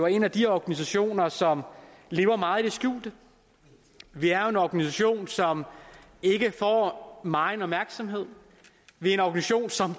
en af de organisationer som lever meget i det skjulte vi er jo en organisation som ikke får megen opmærksomhed vi er en organisation som